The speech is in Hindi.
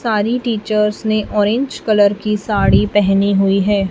सारे टीचर्स ने ऑरेंज कलर की साड़ी पहनी हुई है।